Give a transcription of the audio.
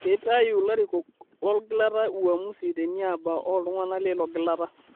Keitayu larikok lolgilata uamusi teniaba o ltung'ana leilo gilata